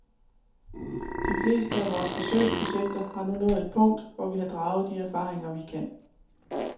De fleste af vores forsøgsprojekter har nu nået et punkt, hvor vi har draget de erfaringer, vi kan.